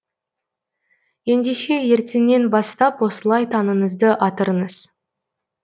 ендеше ертеңнен бастап осылай таңыңызды атырыңыз